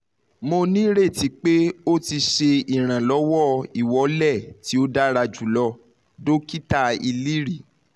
mo nireti pe o ti ṣe iranlọwọ!iwọle ti o dara julọ dokita iliri